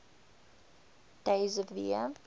days of the year